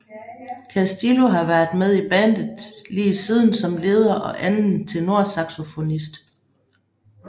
Castillo har været med i bandet lige siden som leder og anden tenorsaxofonist